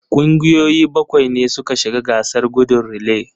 Kungiyoyi bakwai ne suka shiga gasar gudun relay.